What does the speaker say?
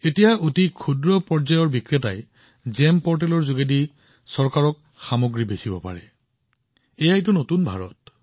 এতিয়া আনকি সৰু দোকানীয়েও তেওঁৰ সামগ্ৰী জিইএম পৰ্টেলত চৰকাৰক বিক্ৰী কৰিব পাৰে সেয়াই হৈছে নতুন ভাৰত